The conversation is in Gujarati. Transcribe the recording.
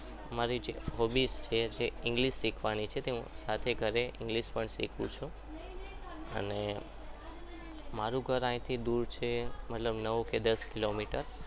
મારી hobbies જે છે english શીખવાની અને રાતે ઘરે english પણ શીખું છું અને મારું ઘર અહીંથી દૂર છે નવ કે દસ કિલોમીટર